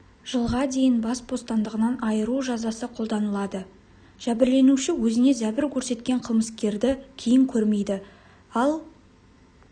жылға дейін бас бостандығынан айыру жазасы қолданылады жәбірленуші өзіне зәбір көрсеткен қылмыскерді кейін көрмейді ал